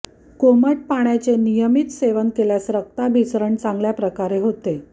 कोमट पाण्याचे नियमित सेवन केल्यास रक्ताभिसरण चांगल्या प्रकारे होते